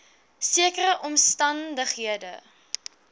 sekere omstan dighede